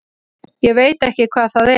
Ég veit ekki hvað það er.